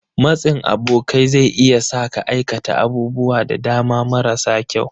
Matsin abokai zai iya sa ka aikata abubuwa da dama marasa kyau.